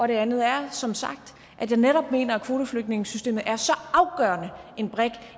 det andet er som sagt at jeg netop mener at kvoteflygtningesystemet er så afgørende en brik